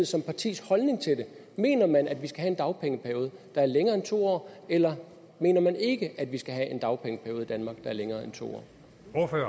som partis holdning til det mener man at vi skal have en dagpengeperiode der er længere end to år eller mener man ikke at vi skal have en dagpengeperiode i danmark er længere end to